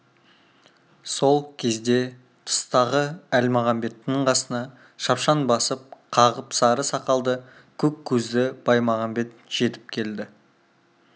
сол кезде тыстағы әлмағамбеттің қасына шапшаң басып қағып сары сақалды көк көзді баймағамбет жетіп келді